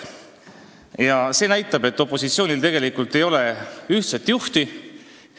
Ning see näitab, et opositsioonil ei ole ühtset juhti.